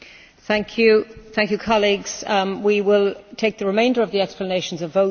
We will take the remainder of the explanations of votes tomorrow after the voting session.